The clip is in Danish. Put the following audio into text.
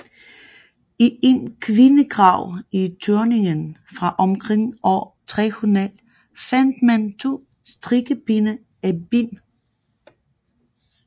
I en kvindegrav i Thüringen fra omkring år 300 fandt man to strikkepinde af ben